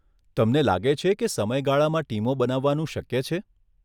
તમને લાગે છે કે સમયગાળામાં ટીમો બનાવવાનું શક્ય છે?